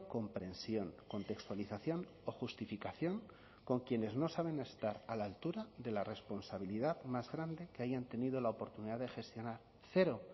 comprensión contextualización o justificación con quienes no saben estar a la altura de la responsabilidad más grande que hayan tenido la oportunidad de gestionar cero